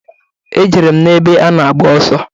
E jere m n'ebe a na-agba ọsọ.